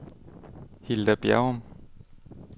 Hilda Bjerrum